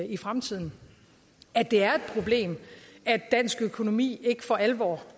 i fremtiden det er et problem at dansk økonomi ikke for alvor